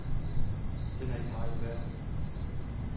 Den er ikke meget værd.